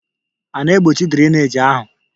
A na-egbochi drainage ahụ?